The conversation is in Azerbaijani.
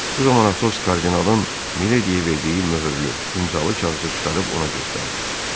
Bu zaman Atos kardinalın Milediyə verdiyi möhürlü, imzalı kağızı çıxarıb ona göstərdi.